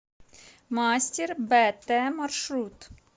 мастер бт маршрут